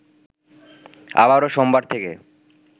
আবারো সোমবার থেকে